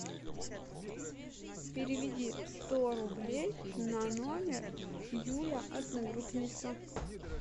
переведи сто рублей на номер юля одногруппница